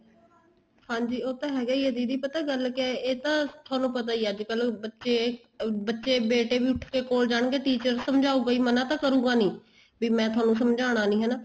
ਹਾਂਜੀ ਉਹ ਤਾਂ ਹੈਗਾ ਹੀ ਹੈ ਦੀਦੀ ਪਤਾ ਗੱਲ ਕਿਆ ਏ ਇਹ ਤਾਂ ਤੁਹਾਨੂੰ ਪਤਾ ਹੀ ਹੈ ਅੱਜ ਕੱਲ ਬੱਚੇ ਬੱਚੇ ਬੇਟੇ ਵੀ ਉੱਠ ਕੇ ਕੋਲ ਜਾਣਗੇ teacher ਸਮਝਾਉਗਾ ਹੀ ਮਨਾਂ ਤਾਂ ਕਰੂਗਾ ਨਹੀਂ ਵੀ ਮੈਂ ਤੁਹਾਨੂੰ ਸਮਝਾਣਾ ਨਹੀਂ ਹੈਨਾ